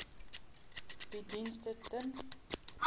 bied dienste ten